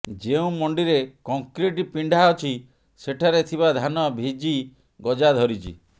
ଯେଉଁ ମଣ୍ଡିରେ କଂକ୍ରିଟ ପିଣ୍ଡା ଅଛି ସେଠାରେ ଥିବା ଧାନ ଭିଜି ଗଜା ଧରିଛି